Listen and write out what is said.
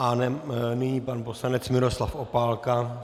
A nyní pan poslanec Miroslav Opálka.